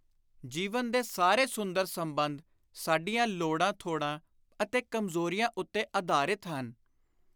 ਜੀਵਨ ਦੇ ਸਾਰੇ ਸੁੰਦਰ ਸੰਬੰਧ ਸਾਡੀਆਂ ਲੋੜਾਂ ਥੋੜਾਂ ਅਤੇ ਕਮਜ਼ੋਰੀਆਂ ਉੱਤੇ ਆਧਾਰਿਤ ਹਨ।